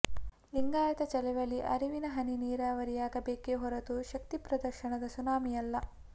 ಲಿಂಗಾಯತ ಚಳವಳಿ ಅರಿವಿನ ಹನಿ ನೀರಾವರಿಯಾಗಬೇಕೇ ಹೊರತು ಶಕ್ತಿ ಪ್ರದರ್ಶನದ ಸುನಾಮಿಯಲ್ಲ